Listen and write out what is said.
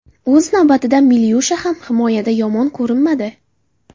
O‘z navbatida Milyusha ham himoyada yomon ko‘rinmadi.